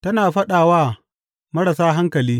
Tana faɗa wa marasa hankali.